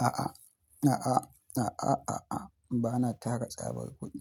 A'a, a'a, a'a, a'a, bana tara tsabar kuɗi.